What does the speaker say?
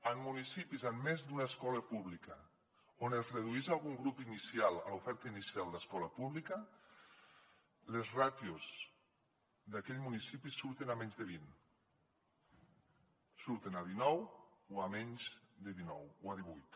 en municipis amb més d’una escola pública on es redueix algun grup inicial a l’oferta inicial d’escola pública les ràtios d’aquell municipi surten a menys de vint surten a dinou o a menys de dinou o a divuit